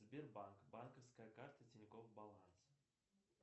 сбербанк банковская карта тинькофф баланс